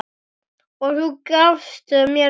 Og þú gafst mér frið.